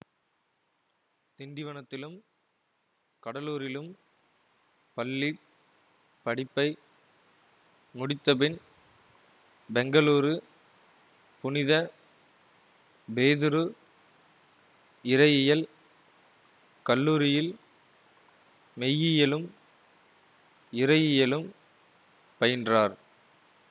திண்டிவனத்திலும் கடலூரிலும் பள்ளி படிப்பை முடித்தபின் பெங்களூரு புனித பேதுரு இறையியல் கல்லூரியில் மெய்யியலும் இறையியலும் பயின்றார்